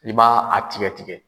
I b'a a tigɛ tigɛ.